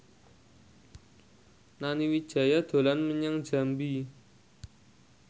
Nani Wijaya dolan menyang Jambi